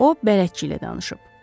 O, bələdçi ilə danışıb.